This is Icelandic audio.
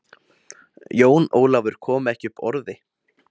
Jón Ólafur kom ekki upp orði.